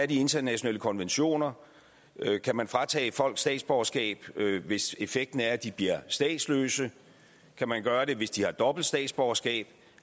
de internationale konventioner så kan man fratage folk statsborgerskab hvis effekten er at de bliver statsløse kan man gøre det hvis de har dobbelt statsborgerskab